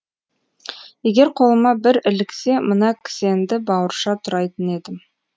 егер қолыма бір іліксе мына кісенді бауырша турайтын едім